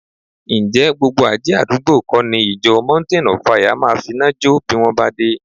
Ǹjẹ́ gbogbo àjẹ́ àdúgbò kọ́ ni ìjọ Mountain of Fire máa finá jọ́ bí wọn bá dé